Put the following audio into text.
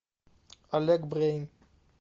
олег брейн